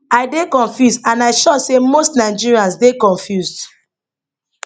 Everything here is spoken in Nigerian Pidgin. i dey confused and i sure say most nigerians dey confused